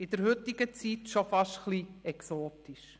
In der heutigen Zeit schon fast etwas exotisch.